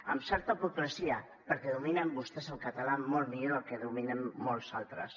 amb certa hipocresia perquè dominen vostès el català molt millor del que el dominem molts altres